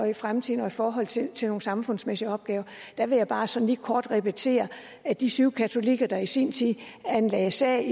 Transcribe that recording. i fremtiden og i forhold til til nogle samfundsmæssige opgaver vil jeg bare sådan lige kort repetere at de syv katolikker der i sin tid anlagde sag